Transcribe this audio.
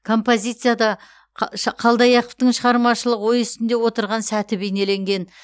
композицияда қалдаяқовтың шығармашылық ой үстінде отырған сәті бейнеленген